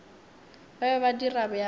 ba be ba dira bjalo